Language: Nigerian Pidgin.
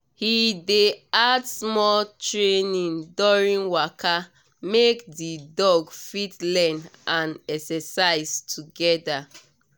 he dey add small training during waka make the dog fit learn and exercise together